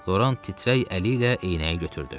Loran titrək əli ilə eynəyi götürdü.